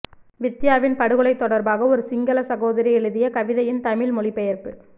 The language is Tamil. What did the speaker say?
வித்தியாவின் படுகொலை தொடர்பாக ஒரு சிங்கள சகோதரி எழுதிய கவிதையின் தமிழ் மொழிபெயர்ப்பு